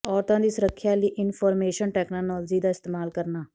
ਔਰਤਾਂ ਦੀ ਸੁਰੱਖਿਆ ਲਈ ਇਨਫੋਰਮੇਸ਼ਨ ਟੈਕਨੌਲਜੀ ਦਾ ਇਸਤੇਮਾਲ ਕਰਨਾ